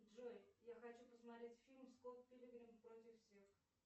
джой я хочу посмотреть фильм скотт пилигрим против всех